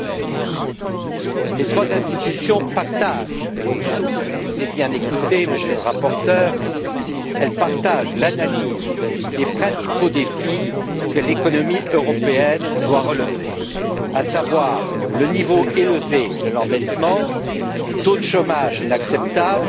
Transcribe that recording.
2016. Les trois institutions partagent et je vous ai bien écouté, Monsieur le rapporteur l'analyse des principaux défis que l'économie européenne doit relever, à savoir le niveau élevé de l'endettement, le taux de chômage inacceptable,